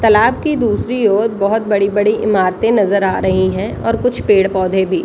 तालाब की दूसरी और बहुत बड़ी-बड़ी इमारते नजर आ रही है और कुछ पेड़ पौधे भी |